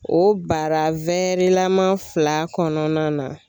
O bara lama fila kɔnɔna na.